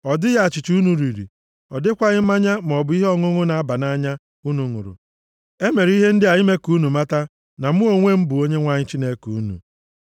Ọ dịghị achịcha unu riri, ọ dịkwaghị mmanya maọbụ ihe ọṅụṅụ na-aba nʼanya unu ṅụrụ. E mere m ihe ndị a ime ka unu mata na mụ onwe m bụ Onyenwe anyị Chineke unu.”